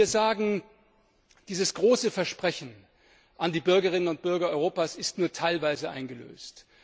Heute müssen wir sagen, dieses große Versprechen an die Bürgerinnen und Bürger Europas ist nur teilweise eingelöst.